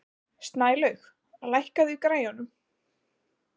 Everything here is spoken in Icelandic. Snælaug, lækkaðu í græjunum.